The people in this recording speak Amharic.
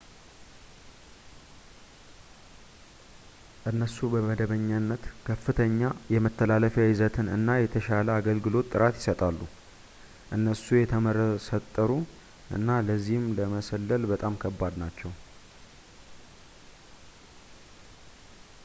እነሱ በመደበኛነት ከፍተኛ የመተላለፊያ ይዘትን እና የተሻለ የአገልግሎት ጥራት ይሰጣሉ እነሱ የተመሰጠሩ እና ለዚህም ለመሰለል በጣም ከባድ ናቸው